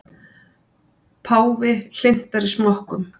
Páfi hlynntari smokkum